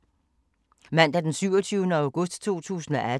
Mandag d. 27. august 2018